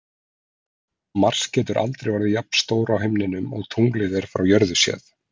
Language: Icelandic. Mars getur aldrei orðið jafn stór á himninum og tunglið er frá jörðu séð.